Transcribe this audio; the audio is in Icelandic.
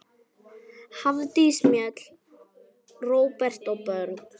Hafdís Mjöll, Róbert og börn.